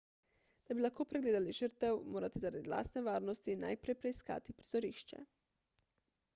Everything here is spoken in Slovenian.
da bi lahko pregledali žrtev morate zaradi lastne varnosti najprej preiskati prizorišče